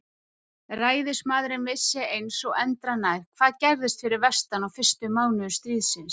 Ræðismaðurinn vissi eins og endranær, hvað gerðist fyrir vestan á fyrstu mánuðum stríðsins.